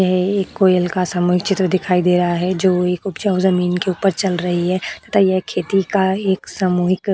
यह एक कोयल का समान चित्र दिखाई दे रहा है जो एक उपजाऊ जमीन के ऊपर चल रही है तथा एक खेती का एक सामूहिक --